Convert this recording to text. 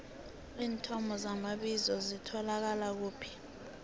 iinthomo zamabizo zitholakala kuphi